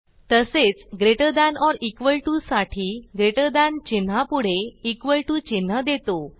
तसेच greater than or equal to साठी greater than चिन्हापुढे इक्वॉल टीओ चिन्ह देतो